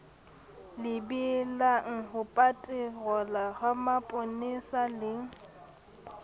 lebelang hopaterola ha maponesa le